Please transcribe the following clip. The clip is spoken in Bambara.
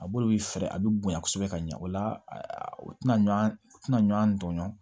A bolo bɛ fɛɛrɛ a bɛ bonya kosɛbɛ ka ɲɛ o la u tɛna ɲɔ u tɛna ɲɔan tɔɲɔn